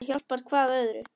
Það hjálpar hvað öðru.